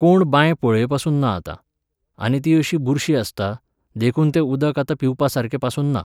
कोण बांय पळयपासून ना आतां. आनी ती अशी बुरशी आसता, देखून तें उदक आतां पिवपासारकें पासून ना.